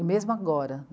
E mesmo agora